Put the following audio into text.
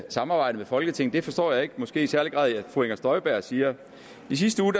samarbejde med folketinget forstår jeg måske i særlig grad ikke at fru inger støjberg siger i sidste uge